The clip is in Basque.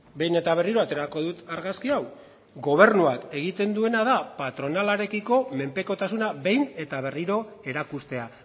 behin eta berriro aterako dut argazki hau gobernuak egiten duena da patronalarekiko menpekotasuna behin eta berriro erakustea